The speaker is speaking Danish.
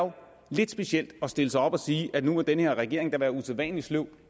lidt specielt at stille sig op og sige at nu må den her regering da være usædvanlig sløv